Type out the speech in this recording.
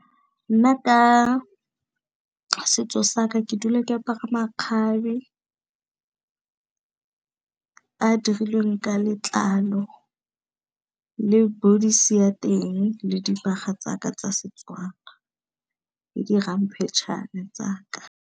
Nna ka setso saka ke dula, ke apara makgabe a dirilweng ka letlalo le bodies-e ya teng, le dibaga tsaka tsa setswana le di ramphetšhane tsaka.